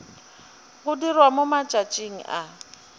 go dirwa mo matšatšing a